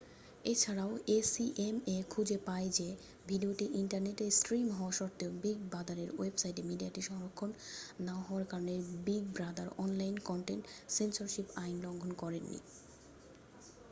এছাড়াও acma খুঁজে পায় যে ভিডিওটি ইন্টারনেটে স্ট্রিম হওয়া সত্ত্বেও বিগ ব্রাদারের ওয়েবসাইটে মিডিয়াটি সংরক্ষণ না হওয়ার কারণে Big Brother online content censorship আইন লঙ্ঘন করেন নি